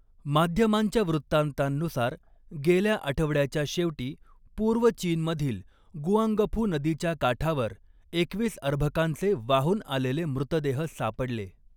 माध्यमांच्या वृत्तान्तांनुसार, गेल्या आठवड्याच्या शेवटी, पूर्व चीनमधील गुआंगफू नदीच्या काठावर एकवीस अर्भकांचे वाहून आलेले मृतदेह सापडले.